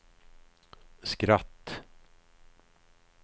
skratt